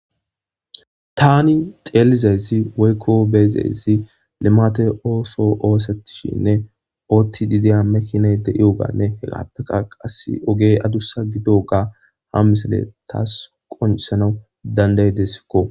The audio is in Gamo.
Tani xelizayssi woykko beyizzayssi limate osoy ossetishe deyssane otidi deya makinay dewuganne ogey adussa gidewga ha misiley taw qoncissanw dandayideskko.